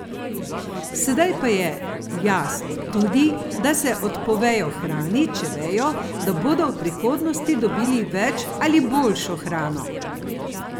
Sedaj pa je jasno tudi, da se odpovejo hrani, če vejo, da bodo v prihodnosti dobili več ali boljšo hrano.